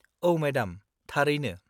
-औ, मेडाम, थारैनो।